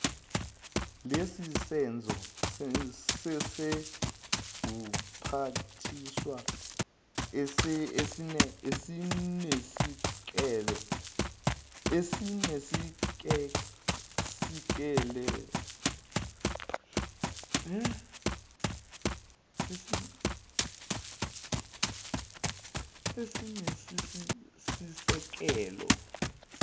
nelesenzo sezobuphathiswa esinesisekelo